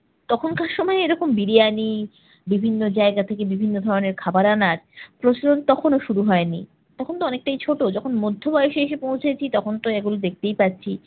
তখনকার সময় এইরকম বিরিয়ানি, বিভিন্ন জায়গা থেকে বিভিন্ন ধরনের খাবার আনার প্রচলন তখনও শুরু হয়নি। তখনতো অনেকটাই ছোট, যখন মধ্যবয়সে এসে পৌঁছেছি তখনতো এইগুলো দেখতেই পাচ্ছি।